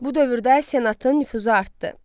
Bu dövrdə senatın nüfuzu artdı.